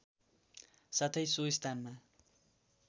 साथै सो स्थानमा